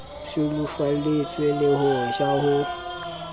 sulafalletswe le ho ja ho